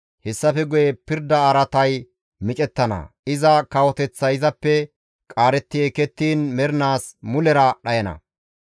« ‹Hessafe guye pirda araatay micettana; iza kawoteththay izappe qaaretti ekettiin izi mernaas mulera dhayana.